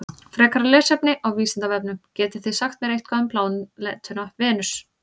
Frekara lesefni á Vísindavefnum: Getið þið sagt mér eitthvað um plánetuna Venus?